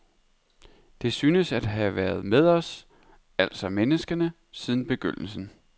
Det synes at have været med os, altså menneskene, siden begyndelsen.